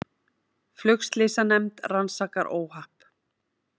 Flugslysanefnd rannsakar óhapp